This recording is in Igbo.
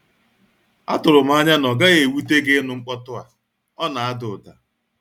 Atụrụ m anya na ọ naghị ewute gịnu mkpotu a, ọna ada ụda.